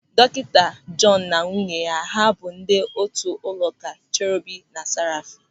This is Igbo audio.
Dọkịta Jọọnu na nwunye ya bụ ndị otu ụlọụka Cherobim na Sàràfim.